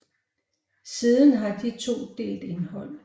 Siden har de to delt indhold